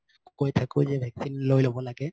কই থাকো যে vaccine লৈ লব লাগে